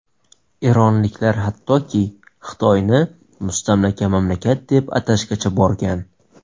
Eronliklar hattoki Xitoyni mustamlaka mamlakat deb atashgacha borgan.